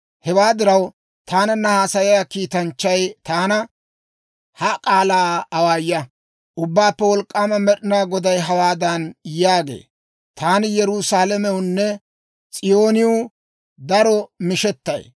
Hewaa diraw, taananna haasayiyaa kiitanchchay taana, «Ha k'aalaa awaaya; Ubbaappe Wolk'k'aama Med'inaa Goday hawaadan yaagee; ‹Taani Yerusaalamewunne S'iyooniw daro mishettay.